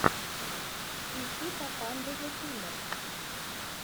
ищи папанда зэ киллер